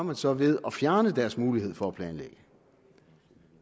man så ved at fjerne deres mulighed for at planlægge